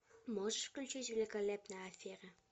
можешь включить великолепная афера